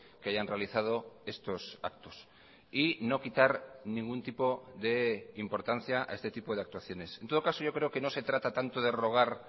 que hayan realizado estos actos y no quitar ningún tipo de importancia a este tipo de actuaciones en todo caso yo creo que no se trata tanto de rogar